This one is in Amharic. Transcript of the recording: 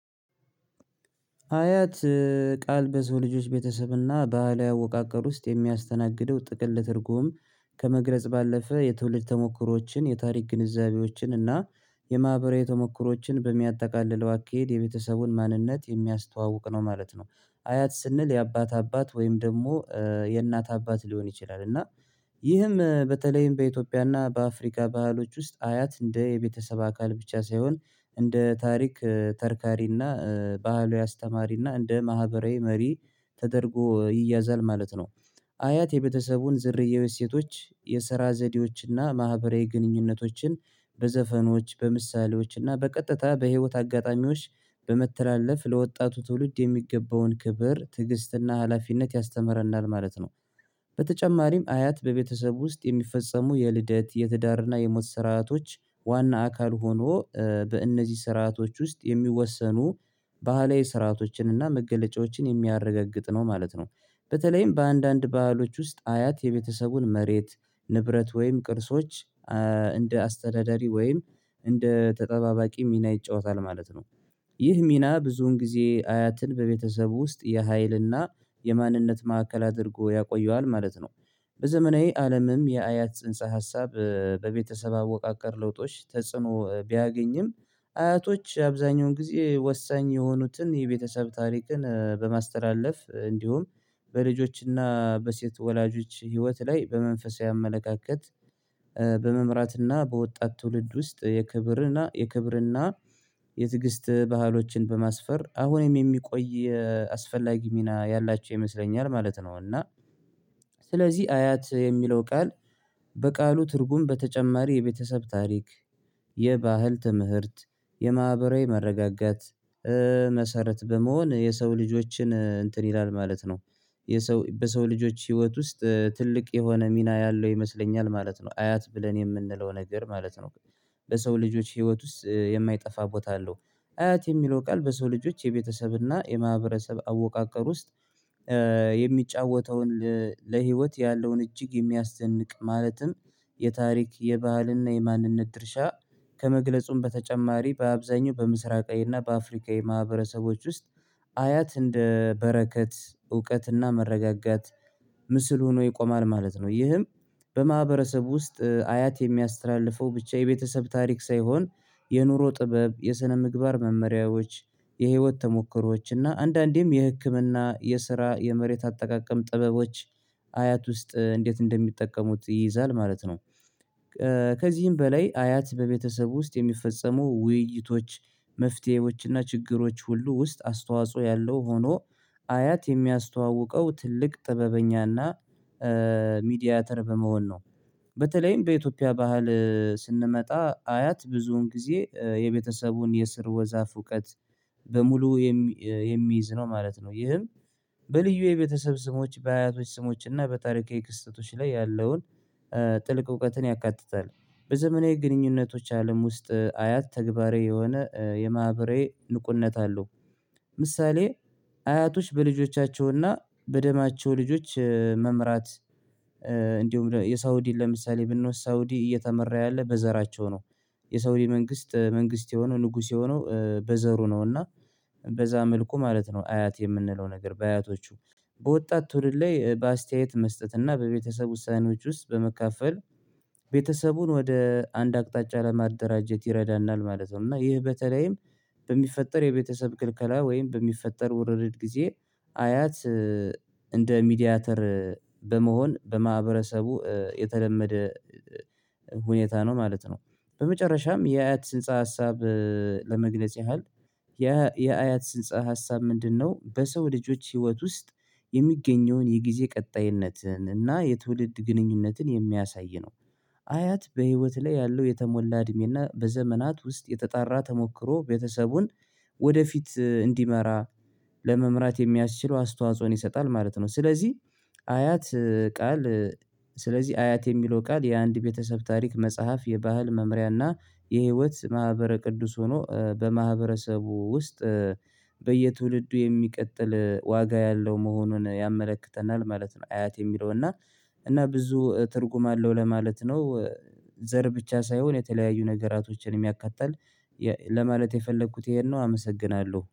አያት ቃል በሰው ልጆች ቤተሰብና ባሀላዊ አወቃቀር ውስጥ የሚያስተናግደው ጥቅል ትርጉም ከመግለጽ ባለፈ የትውልድ ተሞክሮዎችን የታሪክ ግንዛቤዎችን እና የማህበራዊ ተሞክሮዎችን በሚያጠቃልለው አካሄድ የቤተሰቡን ማንነት የሚያስተዋውቅ ነው ማለት ነው። አያት ስንል የአባት አባት ወይም ደግሞ የእናት አባት ሊሆን ይችላል። እና ይህም በተለይም በኢትዮጵያና በአፍሪካ ባህሎች ውስጥ አያት እንደ የቤተሰብ አካል ብቻ ሳይሆን እንደ ታሪክ ተርካሪና ባህሉ አስተማሪና እንደ ማህበራዊ መሪ ተደርጎ ይያዛል ማለት ነው። አያት የቤተሰቡን ዝርያዊ ሴቶች የስራ ዘዴዎችና ማህበራዊ ግንኙነቶችን በዘፈኖች በምሳሌዎችና በቀጥታ በህይወት አጋጣሚዎች በመተላለፍ ለወጣቱ ትውልድ የሚገባውን ክብር ትዕግስትና ሀላፊነት ያስተምረናል ማለት ነው። በተጨማሪም አያት በቤተሰብ ውስጥ የሚፈጸሙ የልደት የትዳርና የሞት ስርአቶች ዋና አካል ሆኖ በእነዚህ ስርአቶች ውስጥ የሚወሰኑ ባህላዊ ስርአቶችንና መገለጫዎችን የሚያረጋግጥ ነው ማለት ነው። በተለይም በአንዳንድ ባህሎች ውስጥ አያት የቤተሰቡን መሬት ንብረት ወይም ቅርሶች እንደ አስተዳዳሪ ወይም እንደ ተጠባባቂ ሚና ይጫወታል ማለት ነው። ይህ ሚና ብዙን ጊዜ አያትን በቤተሰብ ውስጥ የሀይልና የማንነት ማዕከል አድርጎ ያቆየዋል ማለት ነው። በዘመናዊ አለምም የአያት ጽንሰ ሀሳብ በቤተሰብ አወቃቀር ለውጦች ተጽዕኖ ቢያገኝም አያቶች አብዛኛውን ጊዜ ወሳኝ የሆኑትን የቤተሰብ ታሪክን በማስተላለፍ እንዲሁም በልጆችና በሴት ወላጆች ህይወት ላይ በመንፈሳዊ አመለካከት በመምራትና በወጣት ትውልድ ውስጥ የክብርና የክብርና የትግስት ባህሎችን በማስፈር አሁንም የሚቆይ የአስፈላጊ ሚና ያላቸው ይመስለኛል ማለት ነው። እና ስለዚህ አያት የሚለው ቃል በቃሉ ትርጉም በተጨማሪ የቤተሰብ ታሪክ የባህል ትምህርት የማህበራዊ መረጋጋት መሰረት በመሆን የሰው ልጆችን እንትን ይላል ማለት ነው። በሰው ልጆች ህይወት ውስጥ ትልቅ የሆነ ሚና ያለው ይመስለኛል ማለት ነው። አያት ብለን የምንለው ነገር ማለት ነው። በሰው ልጆች ህይወት ውስጥ የማይጠፋ ቦታ አለው። አያት የሚለው ቃል በሰው ልጆች የቤተሰብና የማህበረሰብ አወቃቀር ውስጥ የሚጫወተውን ለህይወት ያለውን እጅግ የሚያስደንቅ ማለትም የታሪክ የባህልና የማንነት ድርሻ ከመግለጹም በተጨማሪ በአብዛኛው በምስራቃዊና በአፍሪካዊ ማህበረሰቦች ውስጥ አያት እንደ በረከት እውቀትና መረጋጋት ምስል ሆኖ ይቆማል ማለት ነው። ይህም በማህበረሰቡ ውስጥ አያት የሚያስተላልፈው ብቻ የቤተሰብ ታሪክ ሳይሆን የኑሮ ጥበብ የስነምግባር መመሪያዎች የህይወት ተሞክሮዎች እና አንዳንዴም የህክምና የስራ የመሬት አጠቃቀም ጥበቦች አያት ውስጥ እንዴት እንደሚጠቀሙት ይይዛል ማለት ነው። ከዚህም በላይ አያት በቤተሰብ ውስጥ የሚፈጸሙ ውይይቶች መፍትሄዎችና ችግሮች ሁሉ ውስጥ አስተዋጽኦ ያለው ሆኖ አያት የሚያስተዋውቀው ትልቅ ጥበብኛና ሚዲያተር በመሆን ነው። በተለይም በኢትዮጵያ ባህል ስንመጣ አያት ብዙን ጊዜ የቤተሰቡን የስርወ ዛፍ እውቀት በሙሉ የሚይዝ ነው ማለት ነው። ይህም በልዩ የቤተሰብ ስሞች በአያቶች ስሞች እና በጣሪካዊ ክስተቶች ላይ ያለውን ጥልቅ እውቀትን ያካትታል። በዘመናዊ ግንኙነቶች አለም ውስጥ አያት ተግባራዊ የሆነ የማህበራዊ ንቁነት አለው። ምሳሌ አያቶች በልጆቻቸውና በደማቸው ልጆች መምራት እንዲሁም የሳውዲን ለምሳሌ ብንወስድ ሳውዲ እየተመራ ያለ በዘራቸው ነው። የሳውዲ መንግስት መንግስት የሆነው ንጉስ የሆነው በዘሩ ነው። እና በዛ መልኩ ማለት ነው አያት የምንለው ነገር በአያቶቹ በወጣት ትውልድ ላይ በአስተያየት መስጠት እና በቤተሰብ ውሳኔዎች ውስጥ በመካፈል ቤተሰቡን ወደ አንድ አቅጣጫ ለማደራጀት ይረዳናል ማለት ነው። እና ይህ በተለይም በሚፈጠር የቤተሰብ ክልከላ ወይም በሚፈጠር ውርርድ ጊዜ አያት እንደ ሚዲያተር በመሆን በማህበረሰቡ የተለመደ ሁኔታ ነው ማለት ነው። በመጨረሻም የአያት ስንፀ ሀሳብ ለመግለጽ ያህል የአያት ጽንሰ ሀሳብ ምንድነው? በሰው ልጆች ህይወት ውስጥ የሚገኘውን የጊዜ ቀጣይነትን እና የትውልድ ግንኙነትን የሚያሳይ ነው። አያት በህይወት ላይ ያለው የተሞላ እድሜና በዘመናት ውስጥ የተጣራ ተሞክሮ ቤተሰቡን ወደፊት እንዲመራ ለመምራት የሚያስችለው አስተዋጽኦን ይሰጣል ማለት ነው። ስለዚህ አያት ቃል ስለዚህ አያት የሚለው ቃል የአንድ ቤተሰብ ታሪክ መጽሐፍ የባህል መምሪያና የህይወት ማህበረ ቅዱስ ሆኖ በማህበረሰቡ ውስጥ በየትውልዱ የሚቀጥል ዋጋ ያለው መሆኑን ያመለክተናል ማለት ነው። አያት የሚለው እና እና ብዙ ትርጉም አለው ለማለት ነው። ዘር ብቻ ሳይሆን የተለያዩ ነገራቶችንም ኣካትታል ለማለት የፈለግሁት ይሄን ነው። አመሰግናለሁ